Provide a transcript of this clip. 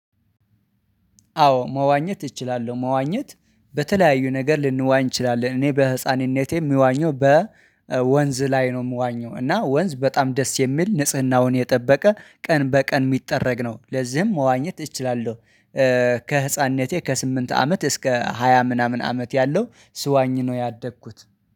አዎ መዋኘት እችላለሁ መዋኘት በተለያዩ ነገር ልንዋኝ እችላለን እኔ በህፃንነቴ የሚዋኘው በ ወንዝ ላይ ነው የምዋኘው እና ወንዝ በጣም ደስ የሚል ንጽህናውን የጠበቀ ቀን በቀን የሚጠረግ ነው ለዚህም መዋኘት እችላለሁ። ከህፃንነቴ ከስምንት አመት እስከ ሃያ ምናምን አመት ያለው ስዋኝ ነው ያደግኩት